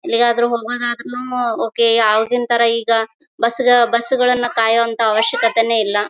ಎಲ್ಲಿಗಾದರೂನು ಹೋಗೋದಾದರೇನು ಓಕೆ ಆವಾಗಿನತರ ಈಗ ಬಸ್ ಬಸ್ ಗಳನ್ನ ಕಾಯುವಂತಹ ಅವಶ್ಯಕತೆನೇ ಇಲ್ಲ.